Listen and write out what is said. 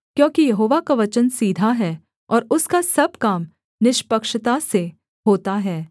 क्योंकि यहोवा का वचन सीधा है और उसका सब काम निष्पक्षता से होता है